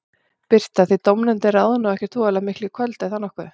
Birta: Þið dómnefndin ráðið nú ekkert voðalega miklu í kvöld, er það nokkuð?